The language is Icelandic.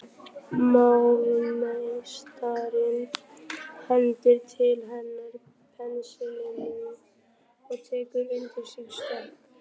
Málarameistarinn hendir til hennar penslinum og tekur undir sig stökk.